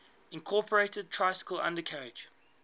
incorporated tricycle undercarriage